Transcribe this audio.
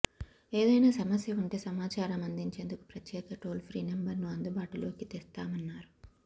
ఏదైనా సమస్య ఉంటే సమాచారం అందించేందుకు ప్రత్యేక టోల్ ఫ్రీ నెంబర్ను అందుబాటులోకి తెస్తామన్నారు